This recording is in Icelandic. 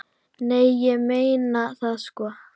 Nei, ég meina það, sko.